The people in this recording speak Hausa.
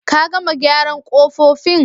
Ka gama gyaran kofofin?